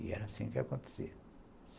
E era assim que acontecia.